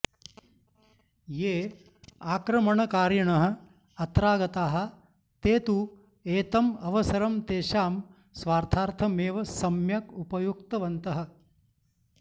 ये आक्रमणकारिणः अत्रागताः ते तु एतम् अवसरं तेषां स्वार्थार्थमेव सम्यक् उपयुक्तवन्तः